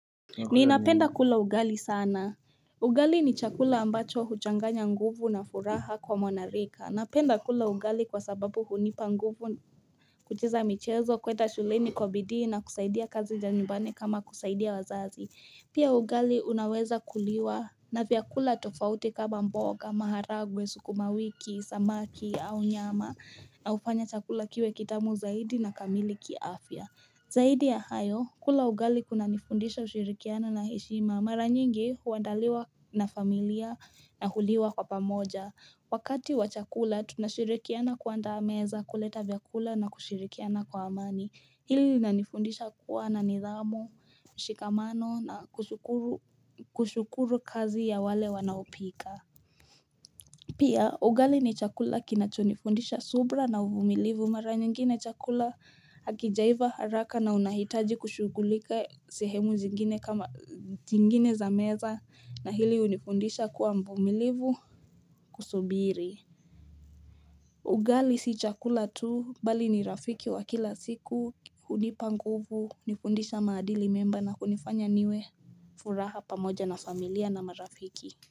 Ninapenda kula ugali sana. Ugali ni chakula ambacho huchanganya nguvu na furaha kwa mwanarika. Napenda kula ugali kwa sababu hunipa nguvu kucheza michezo kwenda shuleni kwa bidii na kusaidia kazi za nyumbani kama kusaidia wazazi. Pia ugali unaweza kuliwa na vyakula tofauti kama mboga, maharagwe, sukumawiki, samaki au nyama na hufanya chakula kiwe kitamu zaidi na kamili kiafya. Zaidi ya hayo, kula ugali kuna nifundisha ushirikiano na heshima. Mara nyingi huandaliwa na familia na huliwa kwa pamoja. Wakati wa chakula, tunashirikiana kuandaa meza kuleta vyakula na kushirikiana kwa amani. Hili linanifundisha kuwa na nidhamu, mshikamano na kushukuru kazi ya wale wanaopika. Pia, ugali ni chakula kinachonifundisha subira na uvumilivu. Mara nyingine chakula hakijaiva haraka na unahitaji kushughulika sehemu zingine, kama zingine za meza na hili hunifundisha kuwa mvumilivu kusubiri. Ugali si chakula tu mbali ni rafiki wa kila siku hunipa nguvu kunifundisha maadili mema na kunifanya niwe furaha pamoja na familia na marafiki.